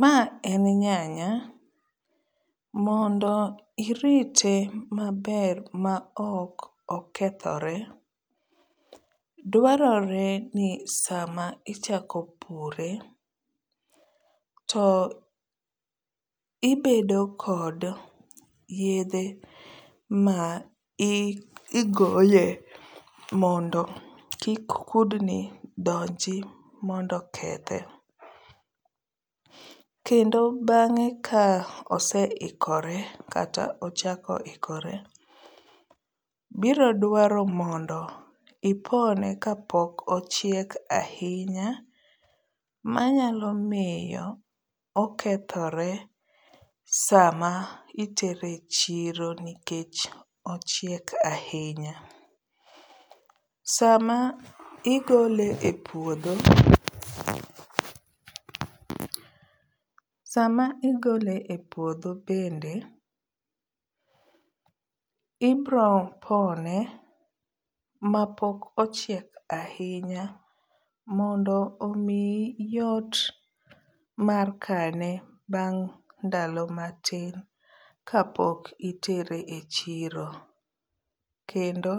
Ma en nyanya. Mondo irite maber ma ok okethore, dwarore ni sama ichako pure to ibedo kod yedhe ma i igoye mondo kik kudni donji mondo okethe. Kendo bang'e ka oseikore kata ochakore ikore biro dwaro mondo ipone ka pok ochiek ahinya manyalo miyo okethore sama itere chiro nikech ochiek ahinya. Sama igole e puodho, sama igole e puodho bende ibro pone mapok ochiek ahinya mondo omiyi yot mar kane bang' ndalo matin kapok itere e chiro. Kendo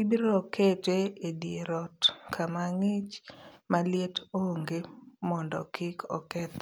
ibro kete e dier ot kama ng'ich ma liet onge mondo kik okethre.